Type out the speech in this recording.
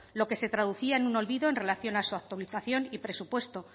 lo que se traducía en un olvido en relación a su actualización y presupuesto